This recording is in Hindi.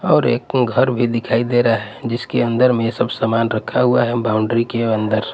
और एक अं घर भी दिखाई दे रहा है जिसके अंदर में सब सामान रखा हुआ है बाउंड्री के अंदर --